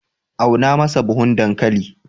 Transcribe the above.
auna masa buhun dankali!